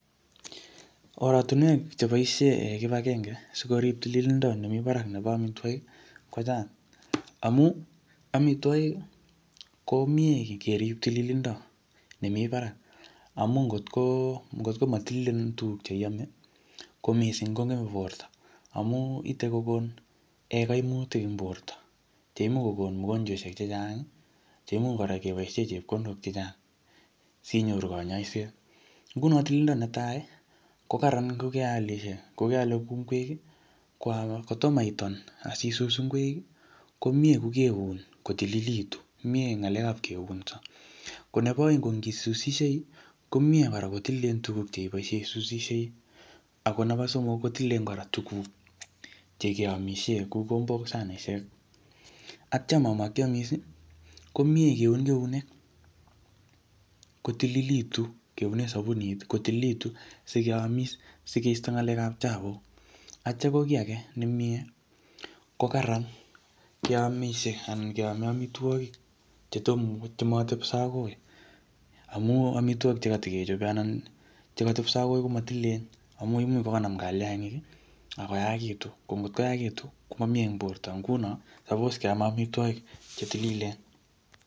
Oratunwek che boisie kibagenge, sikorip tililindo nemii barak nebo amitwogik, kochang. Amu, amitwogik, ko mie kerip tilindo nemii barak. Amu ngotko-ngotko matililen tuguk che iame, ko missing kongeme borto. Amu ite kokon um kaimutik eng borto. Che imuch kokon mogonjweshek chechang, che imuch kora keboisie chepkondok chechang, sinyoru kanyaiset. Nguno tililindo netai, ko kararan ngokealishe, ngokeale kuuu ngwek. Kotomo itun akisus ngwek, ko miee kokeun kotililitu. Komiee ng'alekap keunso. Ko nebo aeng ko ngi susishei, komiee kora kotililen tuguk che ibosiei isusishei. Ako nebo somok, ko tililen kora tuguk che keamisie kou kikombok, sanishek. Atyam amakiamis, ko miee kuin keunek kotililitu. Keune sabunit kotililitu sikeamis, sikeisto ng'alekap chafuk. Atya ko kiy age nemiee, ko kararan keamisie anan keame amitwogik chetom ko chematepso akoi. Amu amitwogik chekatikechope anan chekatepso akoi komatililen. Amu imuch kokanam kaliangik, akoyaakitu. Ngotkoyaakitu, komamie eng borto. Nguno suppose keame amitwogik che tililen.